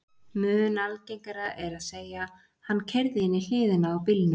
Mun algengara er að segja: Hann keyrði inn í hliðina á bílnum